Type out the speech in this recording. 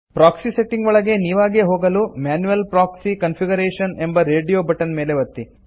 proxy settings ಒಳಗೆ ನೀವಾಗೇ ಹೋಗಲು ಮ್ಯಾನ್ಯುಯಲ್ ಪ್ರಾಕ್ಸಿ ಕಾನ್ಫಿಗರೇಶನ್ ಎಂಬ ರೇಡಿಯೊ ಬಟನ್ ಮೇಲೆ ಒತ್ತಿರಿ